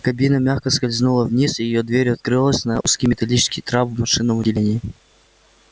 кабина мягко скользнула вниз и её дверь открылась на узкий металлический трап в машинном отделении